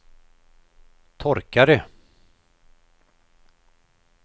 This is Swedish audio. torkare